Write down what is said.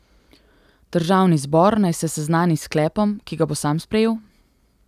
Državni zbor naj se seznani s sklepom, ki ga bo sam sprejel?